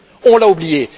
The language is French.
on l'a oubliée.